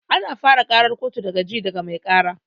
Ana fara ƙarar kotu da ji daga mai ƙara